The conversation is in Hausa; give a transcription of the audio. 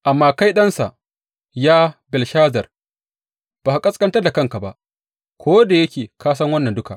Amma kai ɗansa, Ya Belshazar, ba ka ƙasƙantar da kanka ba, ko da yake ka san wannan duka.